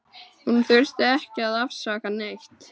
Hún þurfti ekki að afsaka neitt.